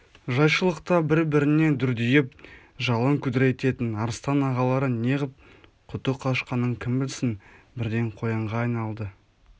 жайшылықта бір-біріне дүрдиіп жалын күдірейтетін арыстан ағалары неғып құты қашқанын кім білсін бірден қоянға айналды